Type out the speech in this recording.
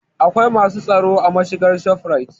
Akwai masu tsaro a mashigar shofurait